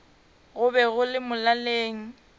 go be go le molaleng